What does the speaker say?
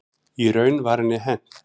Í raun var henni hent.